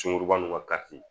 Sunkuruba nun ka kariti